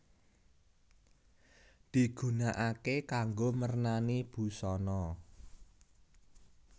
Digunakaké kanggo mernani busana